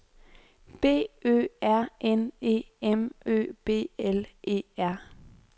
B Ø R N E M Ø B L E R